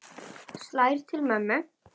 Slær til mömmu.